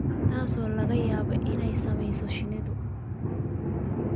taasoo laga yaabo inay saamayso shinnida.